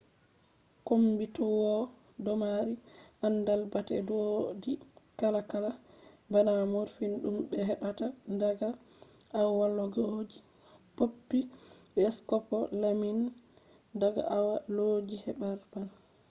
kommbitoowe domari andal bate doidi kalakala bana morphine dum be hebbata daga aawallooji poppy be scopolamine daga aawallooji herbane